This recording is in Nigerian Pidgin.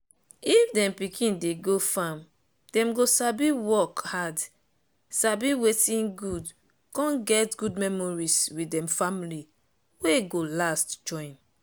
if dem pikin dey go farmdem go sabi work hardsabi wetin goodcon get good memories with dem family wey go last join.